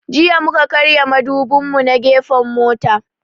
Jiya mu ka karya mudubin mu na gefen mota